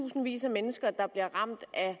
tusindvis af mennesker der bliver ramt af